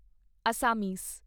Assamese